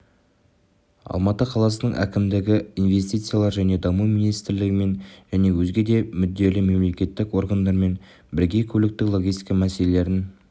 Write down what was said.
алматы қаласының әкімдігі инвестициялар және даму министрлігімен және өзге де мүдделі мемлекеттік органдармен бірге көліктік-логистика мәселелерін